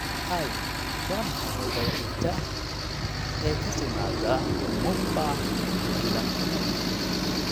hi waa maxay wadada xigta ee ka timaada mumbai ilaa pune